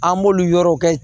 An b'olu yɔrɔw kɛ